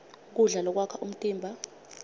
kudla lokwakha umtimba